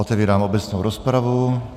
Otevírám obecnou rozpravu.